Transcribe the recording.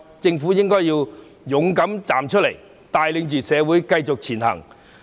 政府應該勇敢站出來，帶領社會繼續前行。